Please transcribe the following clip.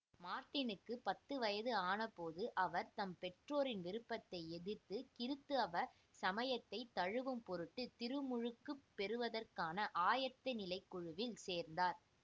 மார்ட்டினுக்குப் பத்து வயது ஆனபோது அவர் தம் பெற்றோரின் விருப்பத்தை எதிர்த்து கிறித்தவ சமயத்தை தழுவும்பொருட்டு திருமுழுக்குப் பெறுவதற்கான ஆயத்தநிலைக் குழுவில் சேர்ந்தார்